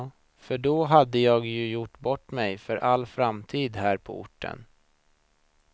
För då hade jag ju gjort bort mig för all framtid här på orten.